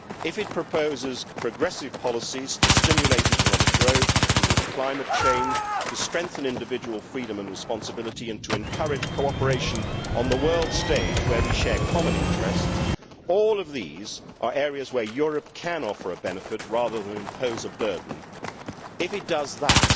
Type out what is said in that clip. If it proposes progressive policies to stimulate economic growth, to deal with climate change, to strengthen individual freedom and responsibility, and to encourage cooperation on the world stage where we share common interests, all of these are areas where Europe can offer a benefit rather than impose a burden. If it does that,